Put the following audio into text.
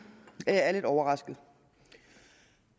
at jeg er lidt overrasket